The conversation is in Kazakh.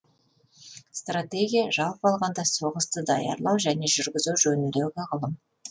стратегия жалпы алғанда соғысты даярлау және жүргізу жөніндегі ғылым